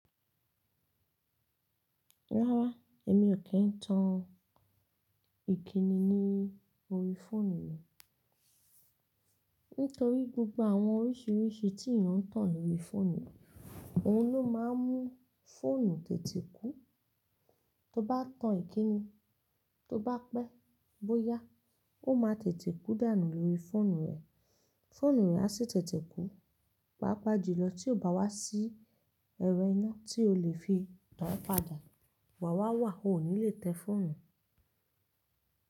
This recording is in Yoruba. Rárá, èmi ò kí ń tan ìkíni ní orí fóònù mi. Nítorí gbogbo àwọn oríṣìíríṣìí tí eeyan ń tàn lórí fóònù, òhun ló máa ń mú fóònù tètè kú. Tó bá tan ìkíni, tó bá pẹ́, bóyá, ó máa tètè kú dànù lórí fóònù rẹ. Fóònù rẹ a sì tètè kú, pàápàá jùlọ tí ó bá wá sí ẹrọ iná tí o lè fi tan án padà. Wàwá wà, o ò ní lè tẹ fóònù.